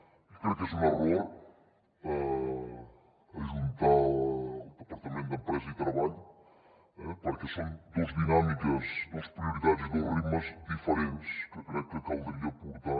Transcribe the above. jo crec que és un error ajuntar el departament d’empresa i treball perquè són dues dinàmiques dues prioritats i dos ritmes diferents que crec que caldria portar